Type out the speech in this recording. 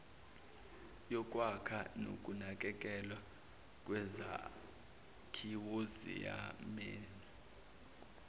yokwakha nokunakekelwa kwezakhiwoziyamenywa